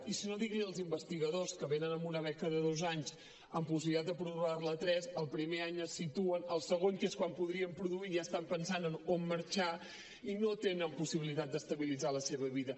i si no digui ho als investigadors que venen amb una beca de dos anys amb possibilitat de prorrogar la tres el primer any es situen el segon que és quan podrien produir ja estan pensant en on marxar i no tenen possibilitat d’estabilitzar la seva vida